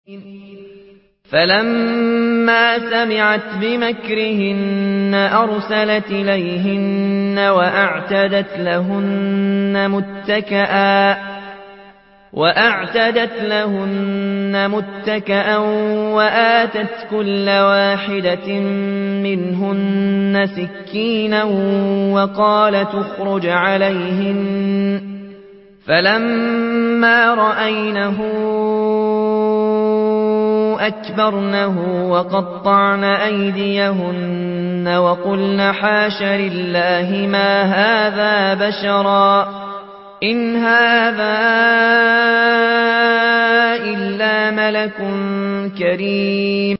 فَلَمَّا سَمِعَتْ بِمَكْرِهِنَّ أَرْسَلَتْ إِلَيْهِنَّ وَأَعْتَدَتْ لَهُنَّ مُتَّكَأً وَآتَتْ كُلَّ وَاحِدَةٍ مِّنْهُنَّ سِكِّينًا وَقَالَتِ اخْرُجْ عَلَيْهِنَّ ۖ فَلَمَّا رَأَيْنَهُ أَكْبَرْنَهُ وَقَطَّعْنَ أَيْدِيَهُنَّ وَقُلْنَ حَاشَ لِلَّهِ مَا هَٰذَا بَشَرًا إِنْ هَٰذَا إِلَّا مَلَكٌ كَرِيمٌ